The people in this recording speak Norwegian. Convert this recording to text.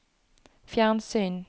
fjernsyn